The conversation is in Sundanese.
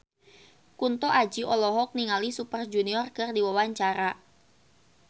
Kunto Aji olohok ningali Super Junior keur diwawancara